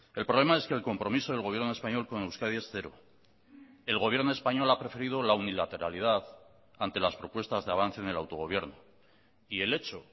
el problema es que el compromiso del gobierno español con euskadi es cero el gobierno español ha preferido la unilateralidad ante las propuestas de avance en el autogobierno y el hecho